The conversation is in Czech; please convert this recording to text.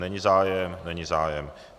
Není zájem, není zájem.